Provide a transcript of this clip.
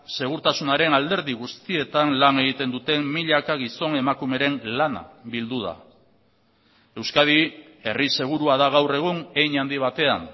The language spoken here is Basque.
segurtasunaren alderdi guztietan lan egiten duten milaka gizon emakumeren lana bildu da euskadi herri segurua da gaur egun hein handi batean